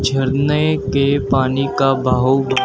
झरने के पानी का बाहु--